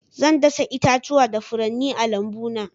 Zan dasa itatuwa da furanni a lambuna.